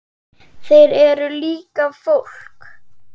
Þeir eru líka fólk.